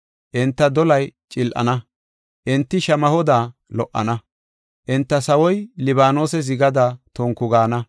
Enta dolay cil7ana; enti shamahoda lo77ana. Enta sawoy Libaanose zigada tonku gaana.